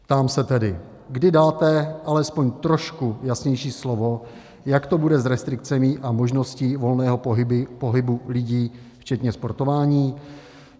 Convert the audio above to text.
Ptám se tedy, kdy dáte alespoň trošku jasnější slovo, jak to bude s restrikcemi a možností volného pohybu lidí včetně sportování.